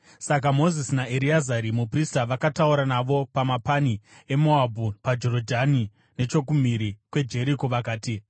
Saka Mozisi naEreazari muprista vakataura navo pamapani eMoabhu paJorodhani nechokumhiri kweJeriko vakati,